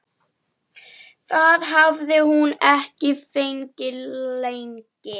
Það hafði hún ekki fengið lengi.